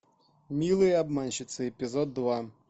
милые обманщицы эпизод два